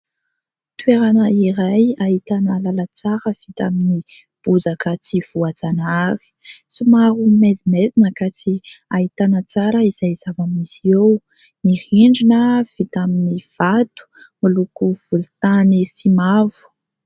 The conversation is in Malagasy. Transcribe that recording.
Toerana iray ahitana lalan-tsara vita amin'ny bozaka tsy voajanahary, somary maizimaizina ka tsy ahitana tsara izay zava-misy eo. Ny rindrina vita amin'ny vato miloko volon-tany sy mavo.